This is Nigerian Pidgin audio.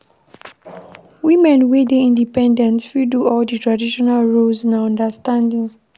Woman wey dey independent fit do all di traditional roles, na understanding.